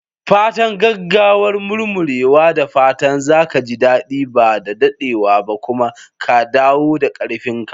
Fatan gaggawar murmurewa! Da fatan za ka ji daɗi ba da daɗewa ba kuma ka dawo da ƙarfin ka.